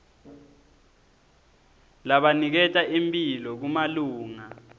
labaniketa imphilo kumalunga